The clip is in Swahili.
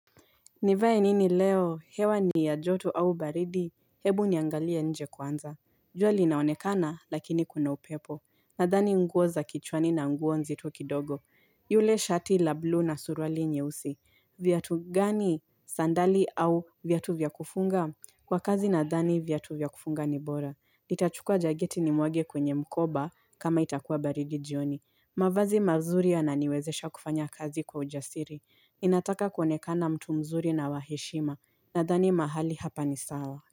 Nivae nini leo? Hewa ni ya joto au baridi? Hebu niangalie nje kwanza. Jua linaonekana, lakini kuna upepo. Nadhani nguo za kichwani na nguo nzito kidogo. Yule shati la blue na suruali nyeusi. Viatu gani sandali au viatu vya kufunga? Kwa kazi nadhani viatu vya kufunga ni bora. Nitachukua jaketi nimwage kwenye mkoba kama itakuwa baridi jioni. Mavazi mazuri yananiwezesha kufanya kazi kwa ujasiri. Ninataka kuoenekana mtu mzuri na wa heshima nadhani mahali hapa ni sawa.